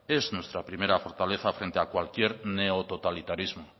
es nuestra primera fortaleza frente a cualquier neototalitarismo